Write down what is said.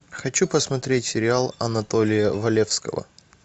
хочу посмотреть сериал анатолия валевского